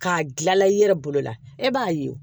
K'a dilanla i yɛrɛ bolo la e b'a ye